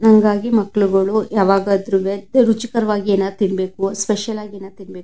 ಹಾಂಗಾಗಿ ಮಕ್ಕಳುಗಳು ಯವಾದ್ರುವೇ ರುಚಿಕರವಾಗಿ ಏನಾದ್ರು ತಿನ್ಬೇಕು ಸ್ಪೆಷಲ್ ಆಗಿ ಏನಾದ್ರು ತಿನ್ಬೇಕು --